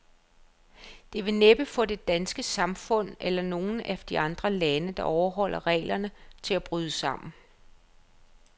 Det vil næppe få det danske samfund, eller nogen af de andre lande, der overholder reglerne, til at bryde sammen.